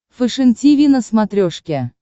фэшен тиви на смотрешке